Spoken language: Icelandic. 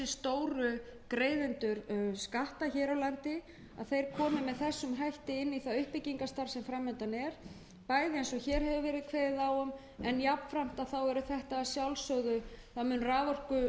stóru greiðendur skatta hér á landi munu koma með þessum hætti inn í það uppbyggingarstarf sem fram undan er bæði eins og hér hefur verið kveðið á um en jafnframt mun raforkuskattur sá sem lagður hefur